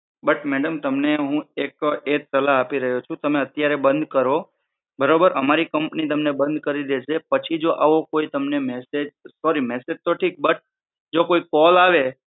but madam તમને હું એક એજ સલાહ આપી રહ્યો છું તમે અત્યારે બંધ કરો બરોબર અમારી કમ્પની તમને બંધ કરી દેશે પછી જો આવો કોઈ તમને મસેજ સોરી મેસેજ તો થીક બટ જો કોઈ કોલ આવે